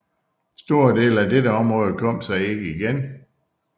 Store dele af dette område kom sig ikke igen